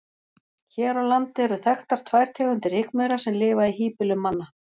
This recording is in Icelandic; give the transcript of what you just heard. Hér á landi eru þekktar tvær tegundir rykmaura sem lifa í híbýlum manna.